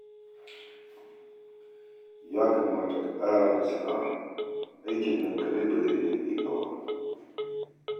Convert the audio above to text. Ya kamata ka ƙara da sana'a, aikin nan kaɗai ba zai iya riƙe ka ba